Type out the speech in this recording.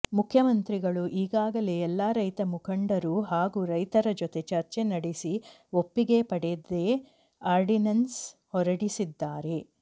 ಮುಖ್ಯಮಂತ್ರಿಗಳು ಈಗಾಗಲೇ ಎಲ್ಲ ರೈತ ಮುಖಂಡರು ಹಾಗೂ ರೈತರ ಜೊತೆ ಚರ್ಚೆ ನಡೆಸಿ ಒಪ್ಪಿಗೆ ಪಡೆದೇ ಆರ್ಡಿನನ್ಸ್ ಹೊರಡಿಸಿದ್ದಾರೆ